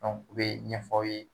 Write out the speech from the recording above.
U bɛ ɲɛfɔ aw ye